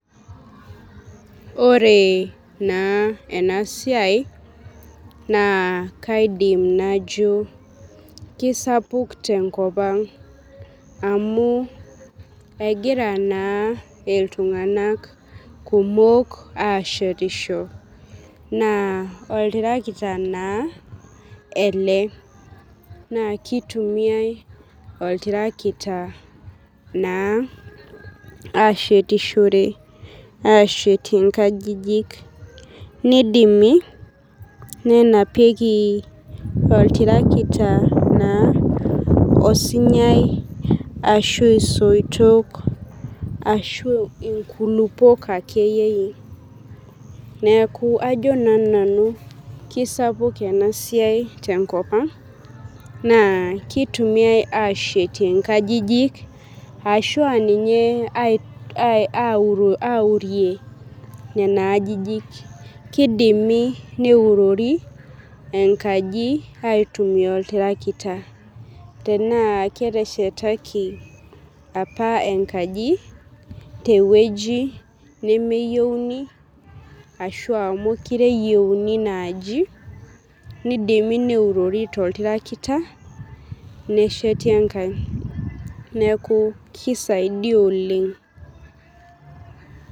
Ore na enasiai na kaidim najo kesapuk tenkop aang amu egira na ltunganak kumok ashetisho na oltarakita Ele na kitumiai oltarakita ba ashetishore ashetie nkajijik nidimi nenapieki oltarakita osinyai ashu isoitoj ashu inkulupuok akeyie neaku ajo na nanu kesapuk enasiai tenkop aang na kitumiai ashetie nkajijik ashu nye aurie nona ajijik kidimi neurori enkaji aitumia oltarakita tana keteshetaki apa enkaji tewoi nemeyieuni inaaji nidimi neurori toltarakita nesheti enkae neaku kisaidia oleng.